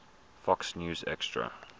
fox news extra